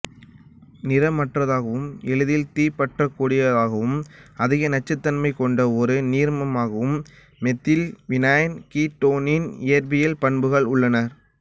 நிறமற்றதாகவும் எளிதில் தீப்பற்றக்கூடியதாகவும் அதிக நச்சுத்தன்மை கொண்ட ஒரு நீர்மமாகவும் மெத்தில் வினைல் கீட்டோனின் இயற்பியல் பண்புகள் உள்ளன